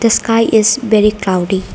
the sky is very cloudy.